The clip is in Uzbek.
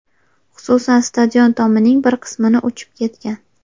Xususan, stadion tomining bir qismini uchib ketgan.